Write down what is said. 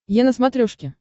е на смотрешке